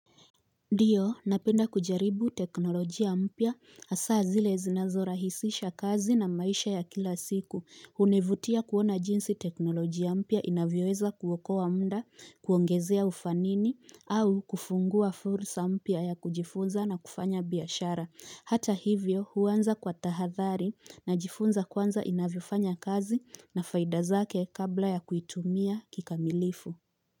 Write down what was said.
Ndiyo, napenda kujaribu teknolojia mpya, hasaa zile zinazora hisisha kazi na maisha ya kila siku, hunivutia kuona jinsi teknolojia mpya inavyoweza kuokoa mda, kuongezea ufanini, au kufungua fursa mpya ya kujifunza na kufanya biashara, hata hivyo huwanza kwa tahathari na jifunza kwanza inavyefanya kazi na faidazake kabla ya kuitumia kikamilifu.